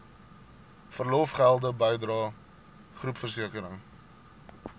verlofgelde bydrae groepversekering